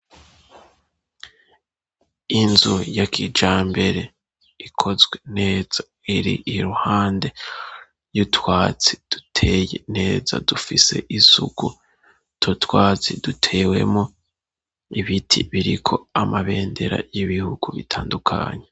Inzu ya kijambere ikozwe neza iri iruhande y'utwatsi duteye neza dufise isuku utwo twatsi dutewemo ibiti biriko amabendera y'ibihugu bitandukanye.